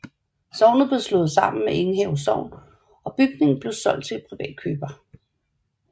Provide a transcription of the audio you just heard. Sognet blev slået sammen med Enghave Sogn og bygningen blev solgt til privat køber